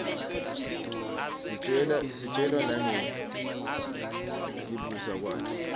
sitjelwa nangekibusa kwakhe